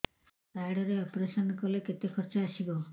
card ରେ operation କଲେ କେତେ ଖର୍ଚ ଆସିବ